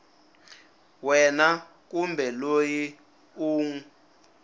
wena kumbe loyi u n